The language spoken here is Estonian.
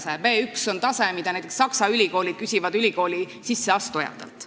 B1 on tase, mida näiteks Saksa ülikoolid küsivad ülikooli sisseastujatelt.